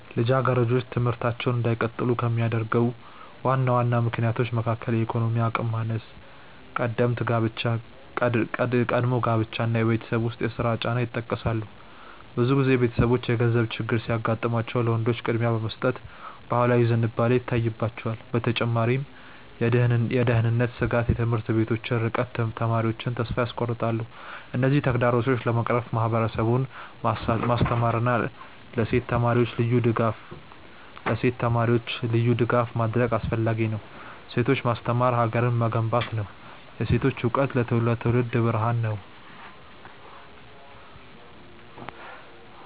ልጃገረዶች ትምህርታቸውን እንዳይቀጥሉ ከሚያደርጉ ዋና ዋና ምክንያቶች መካከል የኢኮኖሚ አቅም ማነስ፣ ቀደምት ጋብቻ እና የቤት ውስጥ ስራ ጫና ይጠቀሳሉ። ብዙ ጊዜ ቤተሰቦች የገንዘብ ችግር ሲያጋጥማቸው ለወንዶች ቅድሚያ የመስጠት ባህላዊ ዝንባሌ ይታይባቸዋል። በተጨማሪም የደህንነት ስጋትና የትምህርት ቤቶች ርቀት ተማሪዎቹን ተስፋ ያስቆርጣል። እነዚህን ተግዳሮቶች ለመቅረፍ ማህበረሰቡን ማስተማርና ለሴት ተማሪዎች ልዩ ድጋፍ ማድረግ አስፈላጊ ነው። ሴቶችን ማስተማር ሀገርን መገንባት ነው። የሴቶች እውቀት ለትውልድ ብርሃን ነው።